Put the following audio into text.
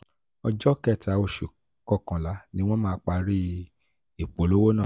ọjọ́ kẹta oṣù kọkànlá ni wọ́n máa parí ìpolówó náà.